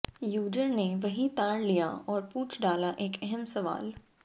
user ने वही ताड़ लिया और पूछ डाला एक अहम सवाल